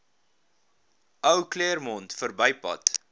ou claremont verbypad